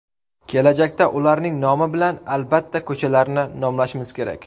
Kelajakda ularning nomi bilan, albatta, ko‘chalarni nomlashimiz kerak.